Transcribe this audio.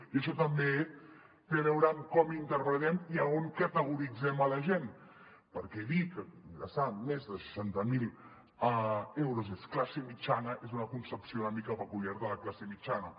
i això també té a veure amb com interpretem i a on categoritzem la gent perquè dir que ingressar més de seixanta mil euros és classe mitjana és una concepció una mica peculiar de la classe mitjana